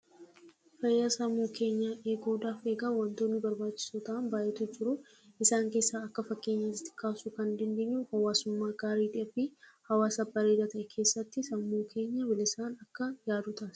Fayyaa sammuu namaa eeguudhaaf egaa wantoonni barbaachisoo ta'an hedduutu jiru. Isaan keessaa akka fakkeenyaatti kaasuu kan dandeenyu hawaasummaa gaarii fi hawaasa gaarii keessatti sammuu keenya bilisaan akka yaadu taasisa.